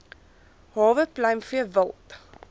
hawe pluimvee wild